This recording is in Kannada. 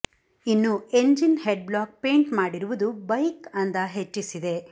ಇನ್ನು ಎಂಜಿನ್ ಹೆಡ್ ಬ್ಲಾಕ್ ಪೈಂಟ್ ಮಾಡಿರುವುದು ಬೈಕ್ ಅಂದ ಹೆಚ್ಚಿಸಿದೆ